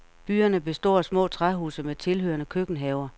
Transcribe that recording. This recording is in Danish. Byerne består af små træhuse med tilhørende køkkenhaver.